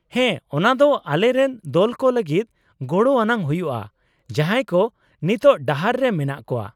-ᱦᱮᱸ, ᱚᱱᱟ ᱫᱚ ᱟᱞᱮ ᱨᱮᱱ ᱫᱚᱞ ᱠᱚ ᱞᱟᱹᱜᱤᱫ ᱜᱚᱲᱚ ᱟᱱᱟᱜ ᱦᱩᱭᱩᱜᱼᱟ ᱡᱟᱦᱟᱸᱭ ᱠᱚ ᱱᱤᱛᱚᱜ ᱰᱟᱦᱟᱨ ᱨᱮ ᱢᱮᱱᱟᱜ ᱠᱚᱣᱟ ᱾